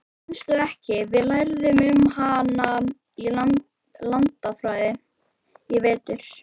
Manstu ekki, við lærðum um hana í landafræðinni í vetur?